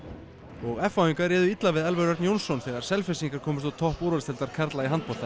og f h ingar réðu illa við Elvar Örn Jónsson þegar Selfyssingar komust á topp úrvalsdeildar karla í handbolta í